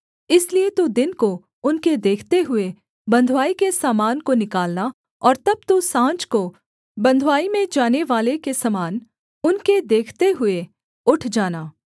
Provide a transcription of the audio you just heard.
इसलिए तू दिन को उनके देखते हुए बँधुआई के सामान को निकालना और तब तू साँझ को बँधुआई में जानेवाले के समान उनके देखते हुए उठ जाना